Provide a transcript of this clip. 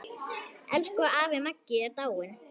Elsku afi Maggi er dáinn.